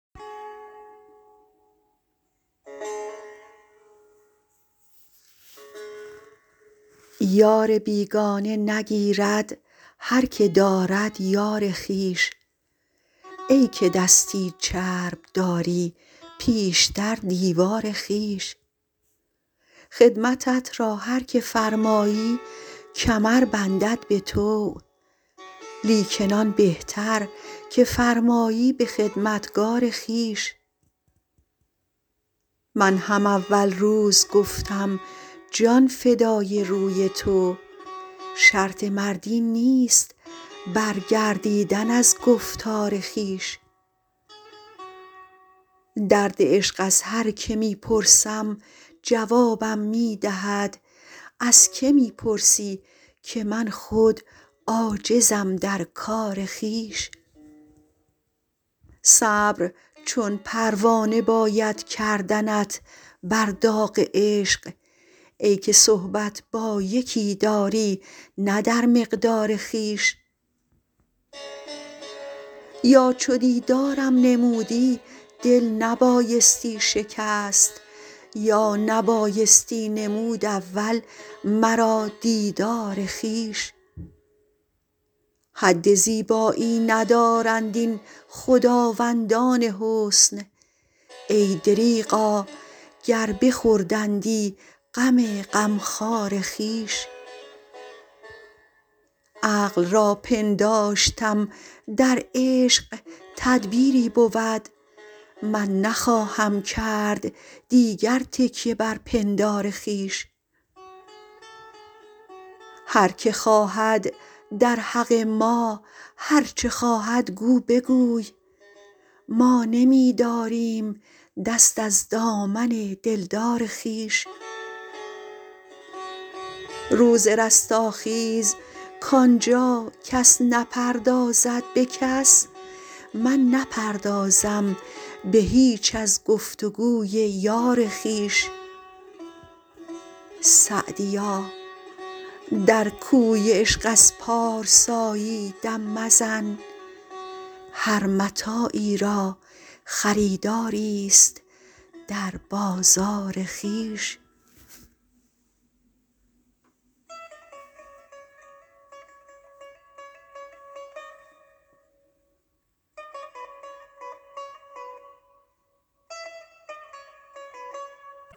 یار بیگانه نگیرد هر که دارد یار خویش ای که دستی چرب داری پیشتر دیوار خویش خدمتت را هر که فرمایی کمر بندد به طوع لیکن آن بهتر که فرمایی به خدمتگار خویش من هم اول روز گفتم جان فدای روی تو شرط مردی نیست برگردیدن از گفتار خویش درد عشق از هر که می پرسم جوابم می دهد از که می پرسی که من خود عاجزم در کار خویش صبر چون پروانه باید کردنت بر داغ عشق ای که صحبت با یکی داری نه در مقدار خویش یا چو دیدارم نمودی دل نبایستی شکست یا نبایستی نمود اول مرا دیدار خویش حد زیبایی ندارند این خداوندان حسن ای دریغا گر بخوردندی غم غمخوار خویش عقل را پنداشتم در عشق تدبیری بود من نخواهم کرد دیگر تکیه بر پندار خویش هر که خواهد در حق ما هر چه خواهد گو بگوی ما نمی داریم دست از دامن دلدار خویش روز رستاخیز کان جا کس نپردازد به کس من نپردازم به هیچ از گفت و گوی یار خویش سعدیا در کوی عشق از پارسایی دم مزن هر متاعی را خریداریست در بازار خویش